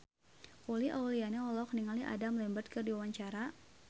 Uli Auliani olohok ningali Adam Lambert keur diwawancara